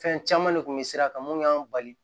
Fɛn caman de kun bɛ sira kan mun y'an bali